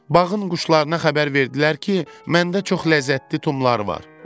Bağın quşlarına xəbər verdilər ki, məndə çox ləzzətli tumlar var.